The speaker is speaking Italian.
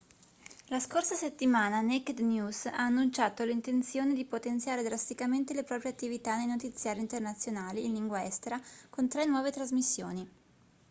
la scorsa settimana naked news ha annunciato l'intenzione di potenziare drasticamente le proprie attività nei notiziari internazionali in lingua estera con tre nuove trasmissioni